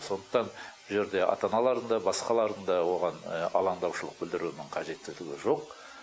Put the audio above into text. сондықтан бұл жерде ата аналардың да басқалардың да оған алаңдаушылық білдірудің қажеттілігі жоқ